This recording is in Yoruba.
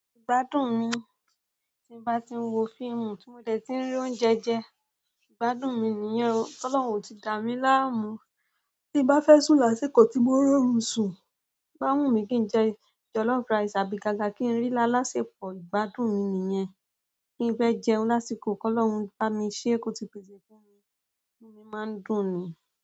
Ìgbádùn mi tí n bá ti ń wo fíìmù, tí mo dẹ̀ tí ń rí oúnjẹ jẹ, ìgbádùn mi nìyẹn o, tolọ́run ò ti dá mi láàmú. Tí bá fẹ́ sú lásìkò tí mo rún oṣù, o má n wù mí kí n jẹ jọlọ́f rice àbí kaka kí n rí lásìkò, ìgbádùn mi nìyẹn. Kí n fẹ́ jẹun lásìkò, kolọ́run bá mi ṣé kò ti pèsè fún mi, inú mi má ń dùn mí.